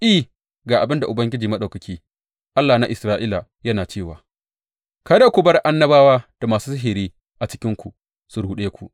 I, ga abin da Ubangiji Maɗaukaki, Allah na Isra’ila yana cewa, Kada ku bar annabawa da masu sihiri a cikinku su ruɗe ku.